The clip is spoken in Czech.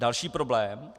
Další problém.